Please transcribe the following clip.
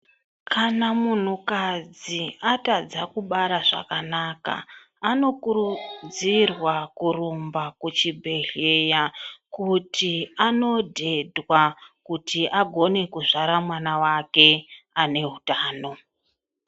Kana munhukadzi atadza kubara zvakanaka anokurudzirwa kurumba kuchibhedhlera kuti anodhedhwa kuti agone kuzvara mwana wake ane hutano.